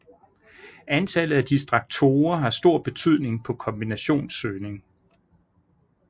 Antallet af distraktorer har stor betydning på kombinationssøgning